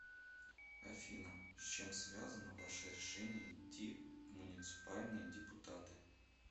афина с чем связано ваше решение идти в муниципальные депутаты